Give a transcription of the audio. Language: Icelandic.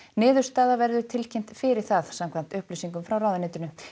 niðurstaða verður tilkynnt fyrir það samkvæmt upplýsingum frá ráðuneytinu